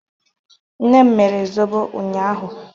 Nne m mere zọbọ unyaahụ